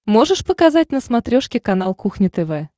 можешь показать на смотрешке канал кухня тв